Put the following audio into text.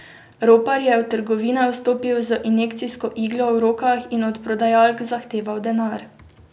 Ropar je v trgovine vstopil z injekcijsko iglo v rokah in od prodajalk zahteval denar.